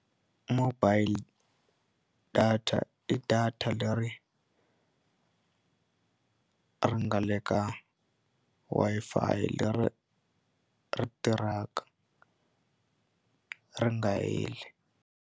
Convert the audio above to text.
Mobile data i data leri ri nga le ka Wi-Fi leri ri tirhaka ri nga heli.